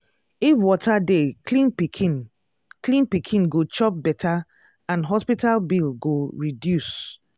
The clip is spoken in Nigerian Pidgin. if water dey clean pikin clean pikin go chop better and hospital bill go reduce.